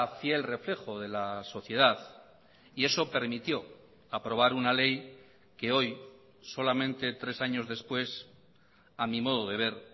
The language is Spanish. fiel reflejo de la sociedad y eso permitió aprobar una ley que hoy solamente tres años después a mi modo de ver